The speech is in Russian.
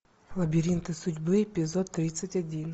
лабиринты судьбы эпизод тридцать один